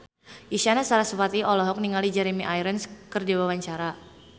Isyana Sarasvati olohok ningali Jeremy Irons keur diwawancara